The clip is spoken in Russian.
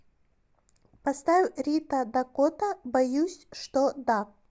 поставь рита дакота боюсь что да